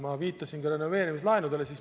Ma viitasin juba renoveerimislaenudele.